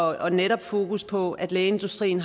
og netop fokusset på at lægeindustrien